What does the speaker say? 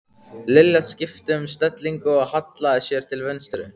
Lilla skipti um stellingu og hallaði sér til vinstri.